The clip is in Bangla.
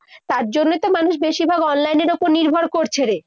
তার জন্যই তো মানুষ বেশিরভাগ online এর উপর নির্ভর করছে রে।